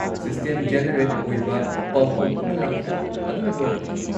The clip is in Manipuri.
ꯁꯤꯁꯇꯦꯝ-ꯖꯦꯅꯦꯔꯦꯠ ꯑꯣꯏꯕ ꯄꯥꯎꯈꯨꯝ ꯑꯃ ꯂꯥꯛꯈꯤ, ꯑꯗꯨꯅ ꯂꯣꯏꯔꯦ꯫